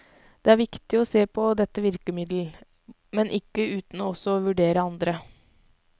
Det er viktig å se på dette virkemiddel, men ikke uten også å vurdere andre.